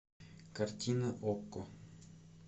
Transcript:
картина окко